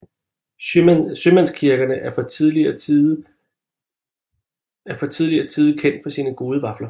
Sjømandskirkerne er fra tidligere tide kendt for sine gode vafler